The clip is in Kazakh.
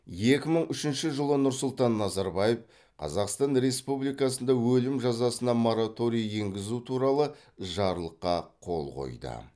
екі мың үшінші жылы нұрсұлтан назарбаев қазақстан республикасында өлім жазасына мораторий енгізу туралы жарлыққа қол қойды